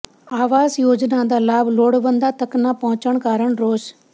ਆਵਾਸ ਯੋਜਨਾ ਦਾ ਲਾਭ ਲੋੜਵੰਦਾਂ ਤੱਕ ਨਾ ਪਹੁੰਚਣ ਕਾਰਨ ਰੋਸ